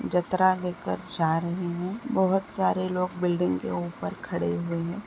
जतरा लेकर जा रहे है बहुत सारे लोग बिल्डिंग के ऊपर खड़े हुए है।